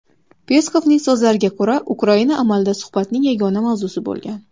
Peskovning so‘zlariga ko‘ra, Ukraina amalda suhbatning yagona mavzusi bo‘lgan.